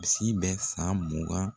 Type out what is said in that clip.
Misi bɛ san mugan.